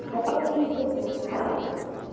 по поводу интернета